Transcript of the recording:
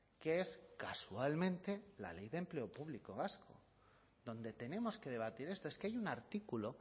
que es casualmente la ley de empleo público vasco donde tenemos que debatir esto es que hay un artículo